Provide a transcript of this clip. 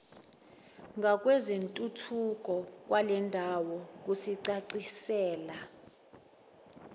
ngakwezentuthuko kwalendawo kusicacisela